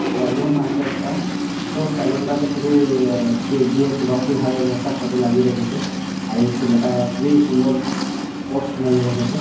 Salon আছে একটা তো সেলুন -টাতে খুবই আহ কে .জি .এফ রকি ভাইয়ের একটা ফটো লাগিয়ে রেখেছে আর এই ছেলেটা খুবই সুন্দর পোস্ট মেরে রেখেছে।